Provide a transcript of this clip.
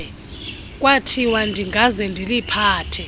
kwathiwa ndingaze ndiliphathe